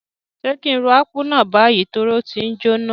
Sé ki n ro Akpu náà bayi torí o ti njoná?